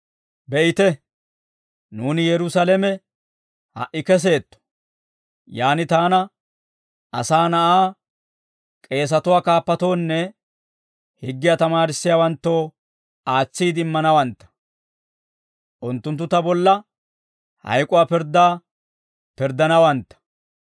«Be'ite, nuuni Yerusaalame ha"i keseetto. Yaan taana, Asaa Na'aa k'eesatuwaa kaappatoonne higgiyaa tamaarissiyaawanttoo aatsiide immanawantta; unttunttu ta bolla hayk'uwaa pirddaa pirddanawantta.